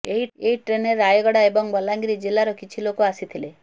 ଏହି ଟ୍ରେନ୍ରେ ରାୟଗଡ଼ା ଏବଂ ବଲାଙ୍ଗିର ଜିଲ୍ଲାର କିଛି ଲୋକ ଆସିଥିଲେ